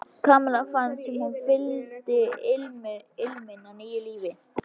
Kamilla fannst sem hún fyndi ilminn af nýju lífi.